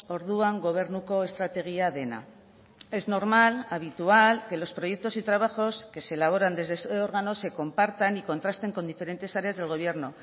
orduan gobernuko estrategia dena es normal habitual que los proyectos y trabajos que se elaboran desde ese órgano se compartan y contrasten con diferentes áreas del gobierno